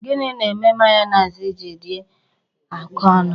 Gini na-eme mayonezi ji adị oké ọnụ?